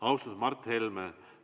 Austatud Mart Helme!